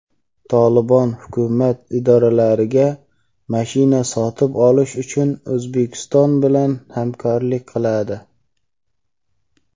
"Tolibon" hukumat idoralariga mashina sotib olish uchun O‘zbekiston bilan hamkorlik qiladi.